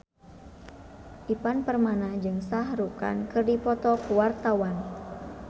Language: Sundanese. Ivan Permana jeung Shah Rukh Khan keur dipoto ku wartawan